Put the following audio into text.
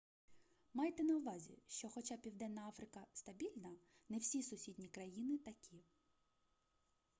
майте на увазі що хоча південна африка стабільна не всі сусідні країни такі